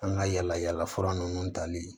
An ka yala yala fura nunnu tali